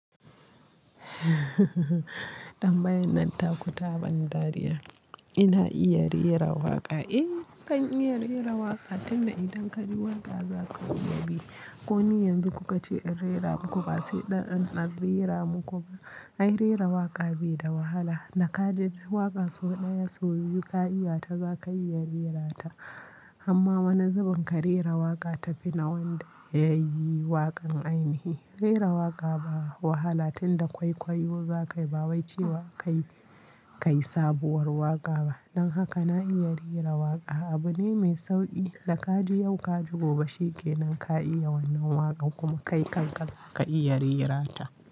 Tambayan nan taku taɓan dariya. Ina iya rera waƙa? Eh, nakan iya rera waƙa, tunda idan ka ji waƙa zaka iya bi. Ko ni yanzu ku ka ce in rera muku ba sai ɗan a rera muku ba. Ai, rera waƙa bai da wahala. Da ka ji waƙa sau ɗaya, sau biyu ka iyata za ka iya rerata. Amma wani zubin ka rera waƙa tafi na wanda yayi waƙan ainihi. Rera waƙa ba wahala, tunda kwaikwayo za ka yi ba wai cewa a ka yi, ka yi sabuwar waƙa ba. Don haka na iya rera waƙa. Abu ne mai sauƙi da ka ji yau ka ji gobe shikenan ka iya wannan waƙan kuma kai kanka za ka iya rerata.